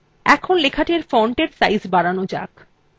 এখন লেখাটির fontএর সাইজ বাড়ানো যাক